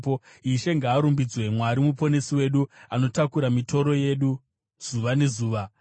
Ishe ngaarumbidzwe, Mwari Muponesi wedu, anotakura mitoro yedu zuva nezuva. Sera